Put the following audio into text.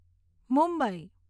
Mumbai